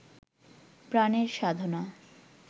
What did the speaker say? প্রাণের সাধনা